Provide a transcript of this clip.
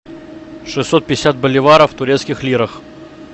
шестьсот пятьдесят боливаров в турецких лирах